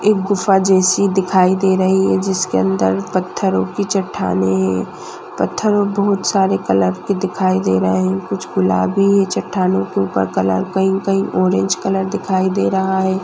एक गुफ्फा जैसी दिखाई दे रही है। जिसके अंदर पत्थरों की चट्टानें पत्थरों बहुत सारे कलर की दिखाई दे रहे है कुछ गुलाबी चट्टानो के ऊपर कलर कही कही ऑरेंज कलर दिखाई दे रहा है।